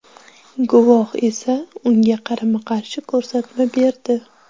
Guvoh esa unga qarama-qarshi ko‘rsatma berdi.